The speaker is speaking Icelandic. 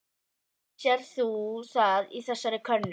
Sérð þú það í þessari könnun?